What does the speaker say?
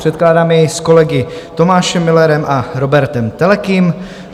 Předkládáme jej s kolegy Tomášem Müllerem a Róbertem Telekym.